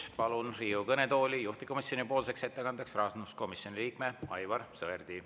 Palun juhtivkomisjoni ettekandeks Riigikogu kõnetooli rahanduskomisjoni liikme Aivar Sõerdi.